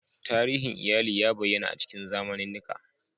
Tarihin iyali ya bayyana a cikin zamanannika.